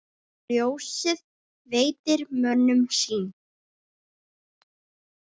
Ljósið veitir mönnum sýn.